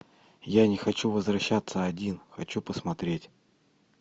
я не хочу возвращаться один хочу посмотреть